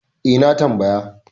E, na tambaya.